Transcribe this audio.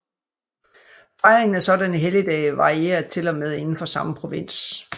Fejringen af sådanne helligdage varierer til og med indenfor samme provins